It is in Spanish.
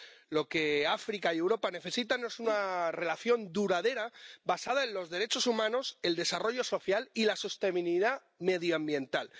Lo que África y Europa necesitan es una relación duradera basada en los derechos humanos, el desarrollo social y la sostenibilidad medioambiental.